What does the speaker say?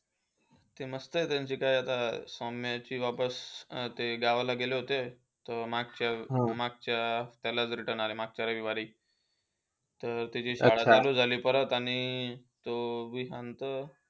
ते मस्त आहे. त्यांची काय आता सौम्यची वापस. ते गावाला गेले होते. मागच्या मागच्या ह्याला return आले. मागच्या रविवारी. तर त्याची शाळा सुरू झाली आणि तो सांगतो,